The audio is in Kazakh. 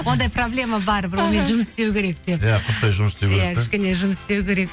ондай проблема бар бұнымен жұмыс істеу керек деп иә құрттай жұмыс істеу керек те кішкене жұмыс істеу керек